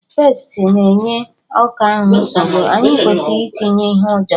Pestị na-enye ọka ahụ nsogbu, anyị kwesịrị itinye ihe ụjọ